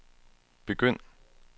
begynd